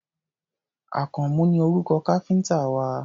Àkànmú ni orúkọ káfíńtà wa.